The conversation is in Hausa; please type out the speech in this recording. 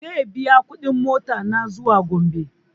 Zai biya kuɗin mota na zuwa gombe